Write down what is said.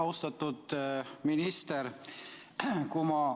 Austatud minister!